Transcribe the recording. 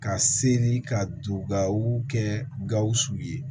Ka seli ka don gawo kɛ gawusu ye